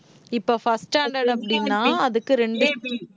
இப்ப first standard அப்படின்னா அதுக்கு ரெண்டு